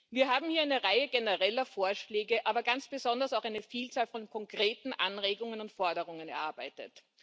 Wir haben hier eine Reihe genereller Vorschläge, aber ganz besonders auch eine Vielzahl von konkreten Anregungen und Forderungen erarbeitet.